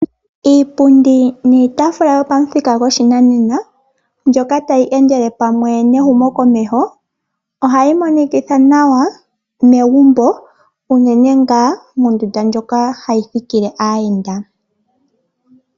Iipundi niitafula yopamuthika gwopashinanena ndjoka tayeendele pamwe nehumo komeho, ohayi monikitha nawa megumbo unene moondundu ndjoka ha yi thikile aayenda.